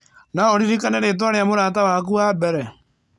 No ũririkane rĩĩtwa rĩa mũrata waku wa mbere?